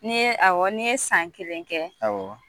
Ni ye ni ye san kelen kɛ